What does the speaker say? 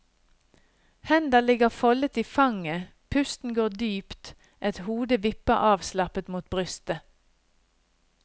Hender ligger foldet i fanget, pusten går dypt, et hode vipper avslappet mot brystet.